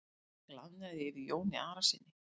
Það glaðnaði yfir Jóni Arasyni.